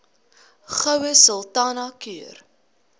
goue sultana keur